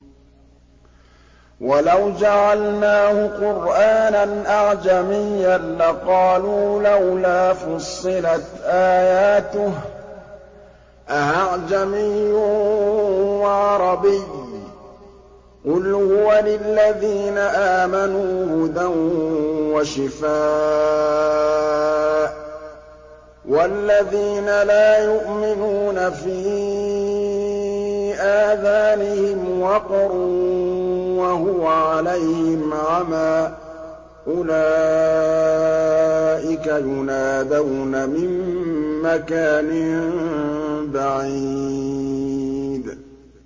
وَلَوْ جَعَلْنَاهُ قُرْآنًا أَعْجَمِيًّا لَّقَالُوا لَوْلَا فُصِّلَتْ آيَاتُهُ ۖ أَأَعْجَمِيٌّ وَعَرَبِيٌّ ۗ قُلْ هُوَ لِلَّذِينَ آمَنُوا هُدًى وَشِفَاءٌ ۖ وَالَّذِينَ لَا يُؤْمِنُونَ فِي آذَانِهِمْ وَقْرٌ وَهُوَ عَلَيْهِمْ عَمًى ۚ أُولَٰئِكَ يُنَادَوْنَ مِن مَّكَانٍ بَعِيدٍ